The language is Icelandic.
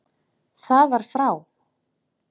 Það var frá